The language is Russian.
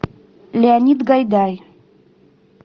леонид гайдай